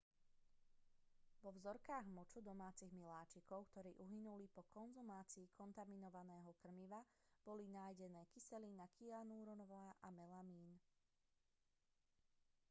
vo vzorkách moču domácich miláčikov ktorí uhynuli po konzumácii kontaminovaného krmiva boli nájdenné kyselina kyanurová a melamín